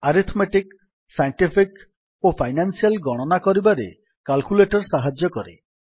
arithmetic scientific ଓ financial ଗଣନା କରିବାରେ କାଲ୍କୁଲେଟର୍ ସାହାଯ୍ୟ କରେ